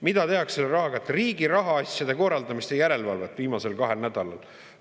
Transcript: Mida tehakse selle rahaga, mis riigi rahaasjade korraldamist ja järelevalvet viimasel kahel nädalal?